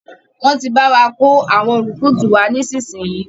Wọn tí bá wà kò àwọn rùkútù wá nísinsìnyí